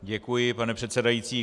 Děkuji, pane předsedající.